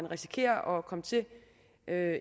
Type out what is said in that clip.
risikerer at komme til at